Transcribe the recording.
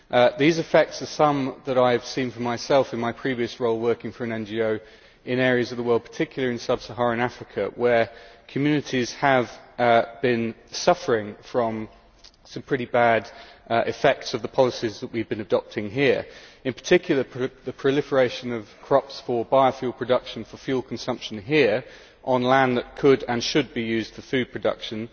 I have seen some of these effects for myself in my previous role working for an NGO in areas of the world, particularly in sub Saharan Africa, where communities have been suffering from some pretty bad effects of the policies that we have been adopting here. In particular the proliferation of crops for biofuel production for fuel consumption there on land that could and should be used for food production